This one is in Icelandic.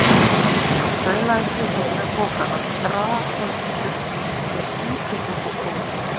Svo staulaðist ég heim með pokana, draghaltur með skítinn undir skónum.